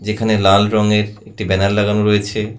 এখানে লাল রঙের একটি ব্যানার লাগানো রয়েছে।